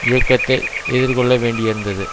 இயக்கத்தை எதிர்கொள்ள வேண்டியிருந்தது